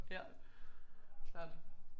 Ja klart